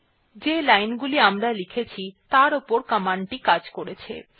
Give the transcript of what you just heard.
এখন যে লাইনগুলি আমরা লিখেছি তার উপর কমান্ড টি কাজ করেছে